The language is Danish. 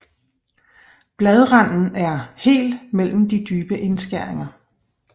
Bladranden er hel mellem de dybe indskæringer